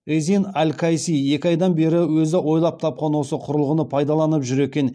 езин аль кайси екі айдан бері өзі ойлап тапқан осы құрылғыны пайдаланып жүр екен